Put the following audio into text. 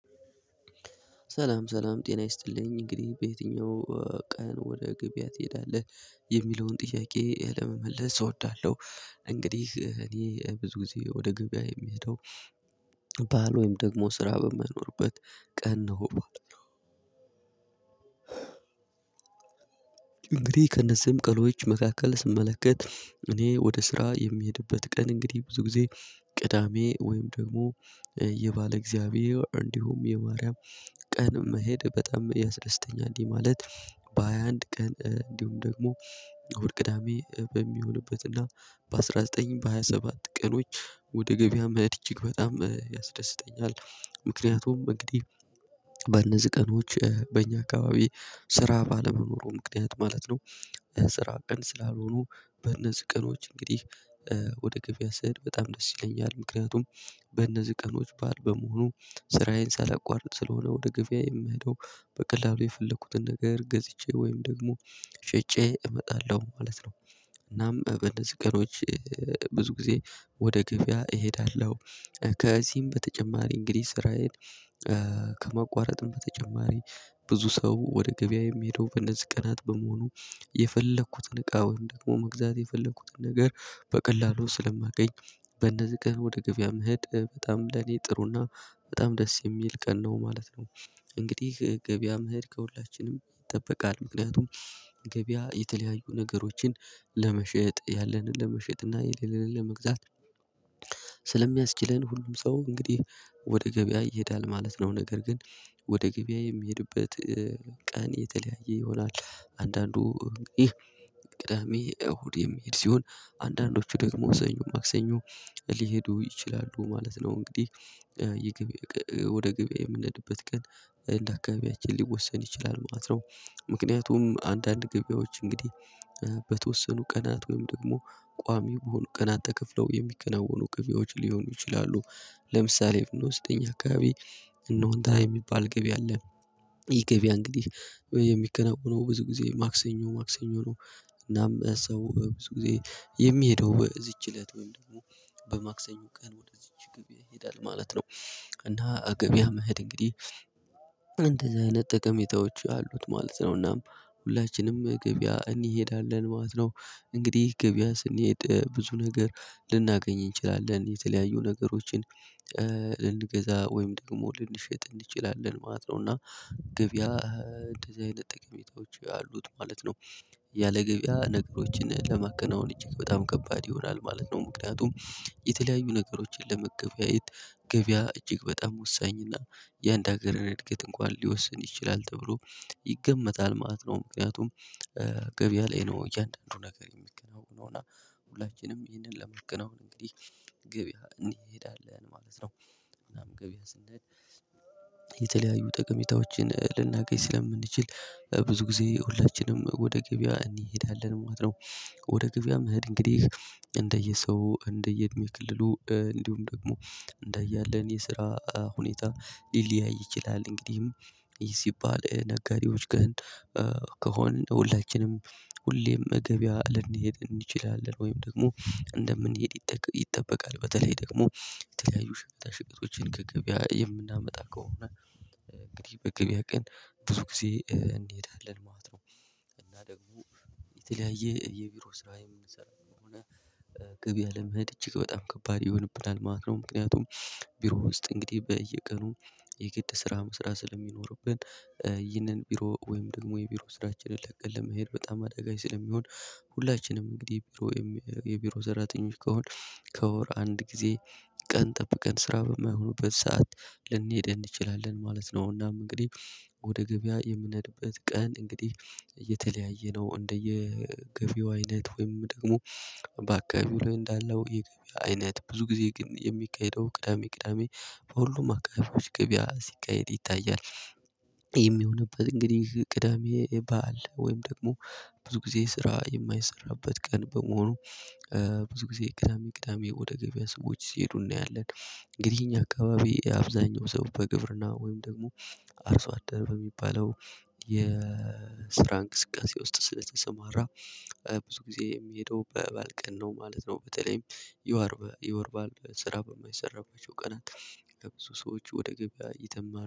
ሰላም ሰላም ጤና ይስጥልኝ እንግዲህ በየትኛው ቀን ወደ ገብያ ትሄዳለህ? የሚለውን ጥያቄ ለመመለስ እወዳለሁ። እንግዲህ እኔ ብዙ ጊዜ ወደ ገብያ የምሄደው ባዓል ወይም ደግሞ ስራ በማይኖርበት ቀን ነው ማለት ነው። እንግዲህ ከእነዚህም ቀኖች መካከል ስመለከት እኔ ወደ ስራ የሚሄድበት ቀን እንግዲህ ብዙ ጊዜ ቅዳሜ ወይም ደግሞ የባለ እግዚአብሔር እንዲሁም የማርያም ቀን መሄድ በጣም ያስደስተኛል። እንዲህ ማለት በሃያ አንድ ቀን እንዲሁም ደግሞ እሁድ ቅዳሜ በሚሆንበትና በአስራ ዘጠኝም በሃያ ሰባት ቀኖች ወደ ገበያ መሄድ እጅግ በጣም ያስደስተኛል። ምክንያቱም እንግዲህ በነዚህ ቀኖች በእኛ አካባቢ ስራ ባለመኖሩም ምክንያት ማለት ነው። ስራ ቀን ስላልሆኑ በእነዚህ ቀኖች እንግዲህ ወደ ገበያ ስሄድ በጣም ደስ ይለኛል። ምክንያቱም በእነዚህ ቀኖች በዓል በመሆኑ ስራዬን ሳላቋርጥ ስለሆነ ወደ ገበያ የምሄደው በቀላሉ የፈለኩትን ነገር ገዝቼ ወይም ደግሞ ሽጬ እመጣለሁ ማለት ነው። እናም በእነዚህ ቀኖች ብዙ ጊዜ ወደ ገበያ እሄዳለሁ። ከዚህም በተጨማሪ እንግዲህ ስራዬን ከመቋረጥም በተጨማሪ ብዙ ሰው ወደ ገበያ የምሄደው በነዚህ ቀናት በመሆኑ የፈለኩትን እቃ ወይም ደግሞ መግዛት የፈለኩትን ነገር በቀላሉ ስለማገኝ። በነዚህ ቀን ወደ ገብያ መሄድ በጣም ለኔ ጥሩና በጣም ደስ የሚል ቀን ነው ማለት ነው። እንግዲህ ገበያም መሄድ ከሁላችንም ይጠበቃል ምክንያቱም ገበያ የተለያዩ ነገሮችን ለመሸጥ ያለንን ለመሸጥ እና የሌለን ለመግዛት። ስለሚያስችለን ሁሉም ሰው እንግዲህ ወደ ገበያ ይሄዳል ማለት ነው። ነገር ግን ወደ ገበያ የሚሄድበት ቀን የተለያየ ይሆናል። አንዳንዱ ቅዳሜ እሁድ የሚሄድ ሲሆን አንዳንዶቹ ደግሞ ሰኞ ማክሰኞ ሊሄዱ ይችላሉ ማለት ነው። እንግዲህ የገበያ ወደ ገበያ የምንሄድበት ቀን እንደ አካባቢያችን ሊወሰን ይችላል መማት ነው። ምክንያቱም አንዳንድ ገበያዎች እንግዲህ በተወሰኑ ቀናት ወይም ደግሞ ቋሚ በሆኑ ቀናት ተከፍለው የሚከናወኑ ገቢዎች ሊሆኑ ይችላሉ። ለምሳሌ ብንወስድ አካባቢ እነሆንታ የሚባል ገቢ አለ። ይህ ገቢያ እንግዲህ የሚከናወነው ብዙ ጊዜ ማክሰኞ ማክሰኞ ነው። እናም ሰው ብዙ ጊዜ የሚሄደው በዚች እለት ወይም ደግሞ በማክሰኞ ቀን ወደዚች ገበያ ይሄዳል ማለት ነው። እና ገበያ መሄድ እንግዲህ ጠሜታዎች አሉት ማለት ነው። እናም ሁላችንም ገበያ እንሄዳለን ማለት ነው። እንግዲህ ገበያ ስንሄድ ብዙ ነገር ልናገኝ እንችላለን የተለያዩ ነገሮችን ልንገዛ ወይም ደግሞ ልንሸጥ እንችላለን ማለት ነው። እና ገበያ እንደዚህ አይነት ጠቀሜታዎች ያሉት ማለት ነው። ያለገበያ ነገሮችን ለማከናወን እጅግ በጣም ከባድ ይሆናል ማለት ነው። ምክንያቱም የተለያዩ ነገሮችን ለመገበያየት ገበያ እጅግ በጣም ወሳኝና የአንድ ሀገር እድገት እንኳን ሊወስን ይችላል ተብሎ ይገመታል ማለት ነው። ምክንያቱም ገበያ ላይ ነው እያንዳንዱ ነገር የሚገናወነው እና ሁላችንም ይህንን ለማከናወን እንግዲህ ገበያ እንሄዳለን ማለት ነው። ምናምን ገበያ ስንሄድ የተለያዩ ጠቀሜታዎችን ልናገኝ ስለምንችል ብዙ ጊዜ ሁላችንም ወደ ገበያ እንሄዳለን ማለት ነው። ወደ ገበያ መሄድ እንግዲህ እንደየ ሰው እንደየ እድሜ ክልሉ እንዲሁም ደግሞ እንደ እያለን የስራ ሁኔታ ሊለያይ ይችላል። እንግዲህም ሲባል ነጋዴዎች ግን ከሆን ሁላችንም ሁሌም ገቢያ ልንሄድ እንችላለን ወይም ደግሞ እንደምንሄድ ይጠበቃል። በተለይ ደግሞ የተለያዩ ሸቀጣሸቀጦችን ከገበያ የምናመጣ ከሆነ እንግዲህ በገበያ ቀን ብዙ ጊዜ እንሄዳለን ማለት ነው። እና ደግሞ የተለያየ የቢሮ ስራ የምንሰራው ከሆነ ገበያ ለመሄድ እጅግ በጣም ከባድ ይሆንብናል ማለት ነው። ምክንያቱም ቢሮ ውስጥ እንግዲህ በየቀኑ የግድ ስራ መስራት ስለሚኖርብን ይህንን ቢሮ ወይም ደግሞ የቢሮ ስራችንን ለቀን ለመሄድ በጣም አደጋች ስለሚሆን ሁላችንም እንግዲህ የቢሮ የቢሮ ሰራተኞች ከሆን ከወር አንድ ጊዜ ቀን ጠብቀን ስራ በማይሆኑበት ሰዓት ልንሄድ እንችላለን ማለት ነው። እናም እንግዲህ ወደ ገበያ የምነድበት ቀን እንግዲህ የተለያየ ነው። እንደየ ገቢያው አይነት ወይም ደግሞ በአካባቢው ላይ እንዳለው የገበያ አይነት ብዙ ጊዜ ግን የሚካሄደው ቅዳሜ ቅዳሜ በሁሉም አካባቢዎች ገበያ ሲካሄድ ይታያል። የሚሆንበት እንግዲህ ቅዳሜ በዓል ወይም ደግሞ ብዙ ጊዜ ስራ የማይሰራበት ቀን በመሆኑ ብዙ ጊዜ ቅዳሜ ቅዳሜ ወደ ገበያ ሰዎች ሲሄዱ እናያለን። እንግዲህ እኛ አካባቢ የአብዛኛው ሰው በግብርና ወይም ደግሞ አርሶ አደር በሚባለው የስራ እንቅስቃሴ ውስጥ ስለተሰማራ ብዙ ጊዜ የሚሄደው በበዓል ቀን ነው ማለት ነው። በተለይም የወር የወር በዓል ስራ በማይሰራባቸው ቀናት ከብዙ ሰዎች ወደ ገበያ ይተማሉ